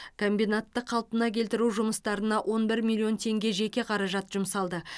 комбинатты қалпына келтіру жұмыстарына он бір миллион теңге жеке қаражат жұмсалды